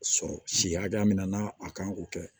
Sɔrɔ si hakɛya min na n'a a kan k'o kɛ